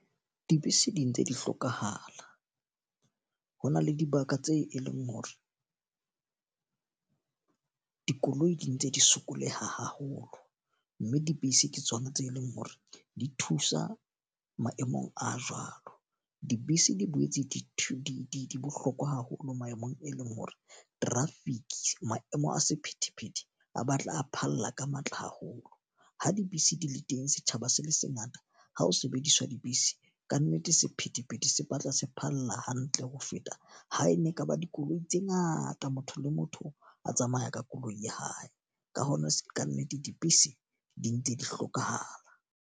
Dibese di ntse di hlokahala. Ho na le dibaka tse e leng hore dikoloi di ntse di sokoleha haholo. Mme dibese ke tsona tse leng hore di thusa maemong a jwalo. Dibese di boetse di bohlokwa haholo maemong e leng hore traffic, maemo a sephethephethe a batla a phalla ka matla haholo. Ha dibese di le teng setjhaba se le se ngata ha ho sebediswa dibese. Ka nnete sephethephethe se batla se phalla hantle ho feta ha e ne e ka ba dikoloi tse ngata motho le motho a tsamaya ka koloi ya hae. Ka hona ka nnete dibese di ntse di hlokahala.